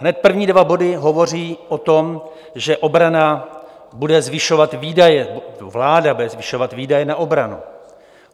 Hned první dva body hovoří o tom, že obrana bude zvyšovat výdaje, vláda bude zvyšovat výdaje na obranu.